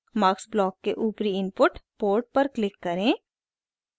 mux block के ऊपरी input port पर क्लिक करें